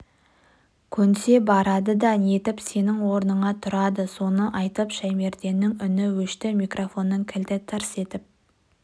көнсе барады да нетіп сенің орныңа тұрады соны айтып шаймерденнің үні өшті микрофонның кілті тырс етіп